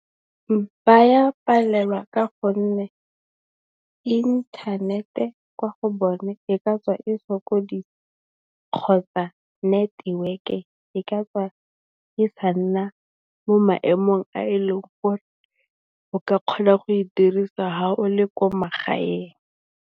Ba palelwa ka gonne, inthanete kwa go bone e ka tswa e sokodisa kgotsa neteweke e ka tswa e sa nna mo maemong a e leng gore o ka kgona go e dirisa ha o le ko magaeng.